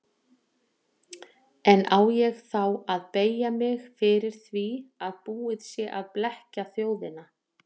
En á ég þá að beygja mig fyrir því að búið sé að blekkja þjóðina.